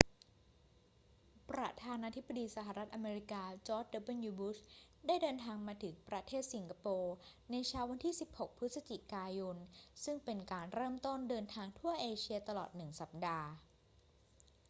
ประธานาธิบดีสหรัฐอเมริกาจอร์จ ดับเบิลยู บุช ได้เดินทางมาถึงประเทศสิงคโปร์ในเช้าวันที่ 16 พฤศจิกายน ซึ่งเป็นการเริ่มต้นเดินทางทั่วเอเชียตลอดหนึ่งสัปดาห์